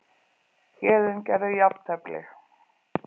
Héðinn gerði jafntefli